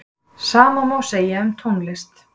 sama má segja um tónlist